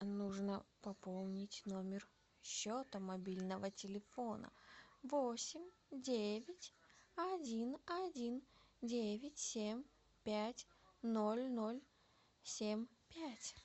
нужно пополнить номер счета мобильного телефона восемь девять один один девять семь пять ноль ноль семь пять